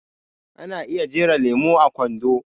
Ana iya jera lemo a kwando